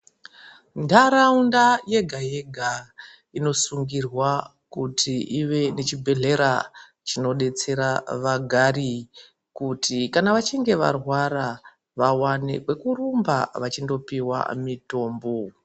Ntaraunda yege-yega inosungirwa kuti ive nechibherahlera chinodetsera vagari kuti kana vachinge varwara vawane kwekurumba vachindopihwa mitombo.